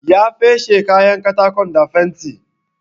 Ya feshe kayan katakon da fenti.